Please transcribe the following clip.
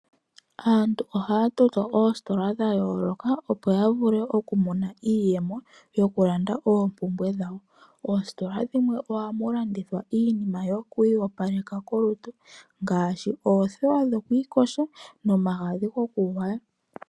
Aantu ohaa toto oositola dha yooloka opo ya vule okumona iiyemo yoku kandulapo oompumbwe dhawo. Oositola dhimwe ohadhi landitha iinima yokwiiyopalekitha kolutu ngaashi oothewa dhokwiiyoga nomagadhi gokugwaya.